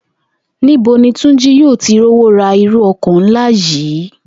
Ní bo ni Túnjí yóò ti rówó ra irú o̩kò̩ ńlá yìí?